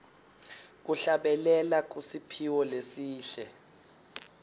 kuhlabelela kusiphiwo lesihle